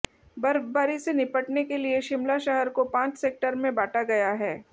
बर्फबारी से निपटने के लिए शिमला शहर को पांच सेक्टर में बांटा गया है